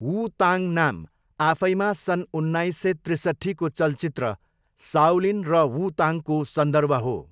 वू Tang नाम आफैमा सन् उन्नाइस सय त्रिसट्ठीको चलचित्र साओलिन र वू ताङको सन्दर्भ हो।